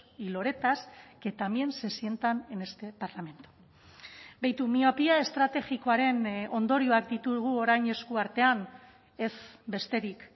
y loretas que también se sientan en este parlamento behitu miopia estrategikoaren ondorioak ditugu orain esku artean ez besterik